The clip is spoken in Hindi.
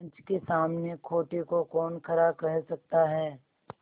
पंच के सामने खोटे को कौन खरा कह सकता है